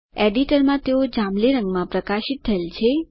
એડિટરમાં તેઓ જાંબલી રંગ માં પ્રકાશિત થયેલ છે